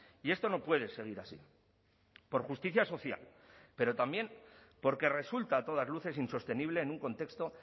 y esto no puede seguir así por justicia social pero también porque resulta a todas luces insostenible en un contexto